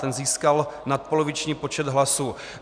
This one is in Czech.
Ten získal nadpoloviční počet hlasů.